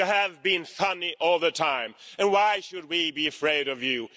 You have been funny all the time, and why should we be afraid of you?